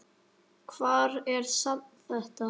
Hvar er safn þetta?